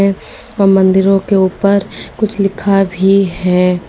और मंदिरों के ऊपर कुछ लिखा भी है।